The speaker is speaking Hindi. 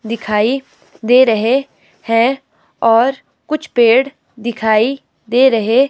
दिखाई दे रहे हैं और कुछ पेड़ दिखाई दे रहे--